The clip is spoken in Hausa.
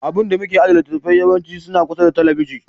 Abun da muke ajiye littattafai yawanci suna kusa da talabijin.